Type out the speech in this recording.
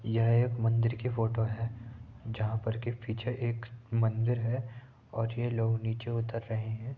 यह एक मंदिर की फ़ो टो है जहां पर के पीछे एक मंदिर है और ये लोग नीचे उतर रहे हैं।